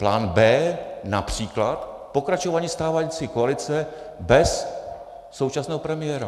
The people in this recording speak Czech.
Plán B, například, pokračování stávající koalice bez současného premiéra.